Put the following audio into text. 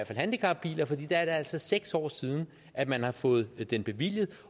handicapbiler for der er det altså seks år siden at man har fået den bevilget